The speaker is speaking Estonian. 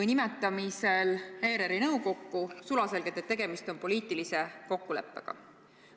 või nimetamisel ERR-i nõukokku sulaselgelt, et tegemist on poliitilise kokkuleppega.